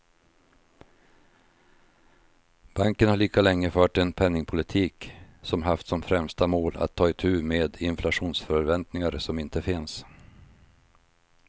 Banken har lika länge fört en penningpolitik som haft som främsta mål att ta itu med inflationsförväntningar som inte finns.